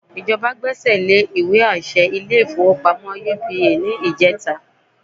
Ìjọba gbẹ́sẹ̀ lé ìwé àṣẹ ilé-ìfowópamọ́ UBA ní ìjẹta